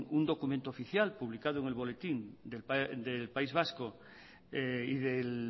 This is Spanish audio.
un documento oficial publicado en el boletín oficial del país vasco y del